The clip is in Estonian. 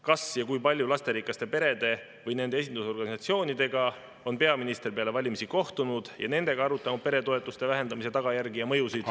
Kas ja kui palju lasterikaste perede või nende esindusorganisatsioonidega on peaminister peale valimisi kohtunud ja nendega arutanud peretoetuste vähendamise tagajärgi ja mõjusid?